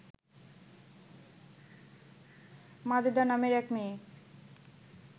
মাজেদা নামের এক মেয়ে